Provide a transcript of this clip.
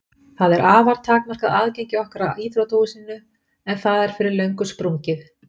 Það er afar takmarkað aðgengi okkar að íþróttahúsinu en það er fyrir löngu sprungið.